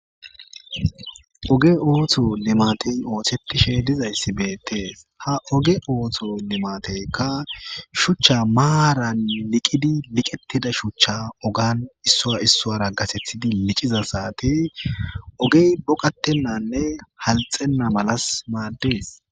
Oge ooto limatey oothetishe dizayssi beettees ha oge ootho limateykka shuchcha maaran liqidi liqettida shuchcha ogan iissoara gasethidi liciza saate ogey boqatennanne halxenna malas maadees.